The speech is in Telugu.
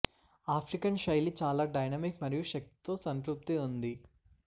ఆఫ్రికన్ శైలి చాలా డైనమిక్ మరియు శక్తి తో సంతృప్తి ఉంది